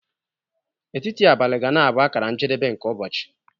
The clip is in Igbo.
Etiti abalị ga-na bụ akara njedebe nke ụbọchị.